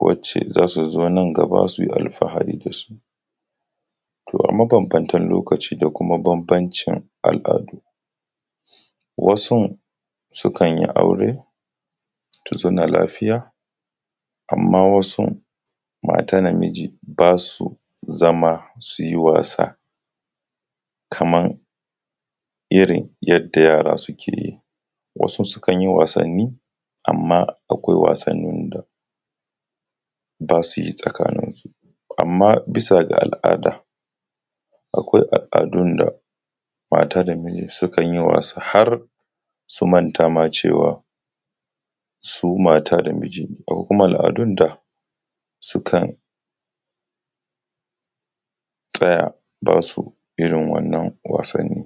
wacce zasu zo nan gaba sui alfahari dasu. To a mabanbantan lokaci da kuma banbancin al’adu wasu sukanyi aure su zauna lafiya, amma wasun mata da miji basu zama suyi wasa kaman irrin yadda yara suke yi. Wasu su kanyi wasanni amma akwai wasannin da basayi tsakaninsu, amma bisa ga al’ada akwai al’adun da mata da miji sukanyi wasa harsu manta ma cewa su mata da miji ne, akwai kuma al’adun da sukan tsaya basu irrin wannan wasanni.